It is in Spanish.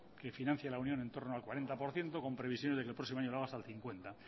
que financia la unión en torno al cuarenta por ciento con previsiones de que el próximo año lo haga hasta el cincuenta